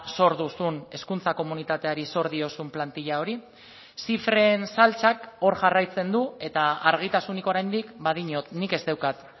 zor duzun hezkuntza komunitateari zor diozun plantilla hori zifren saltsak hor jarraitzen du eta argitasunik oraindik badiot nik ez daukat